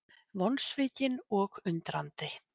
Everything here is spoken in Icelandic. Vonsvikinn og undrandi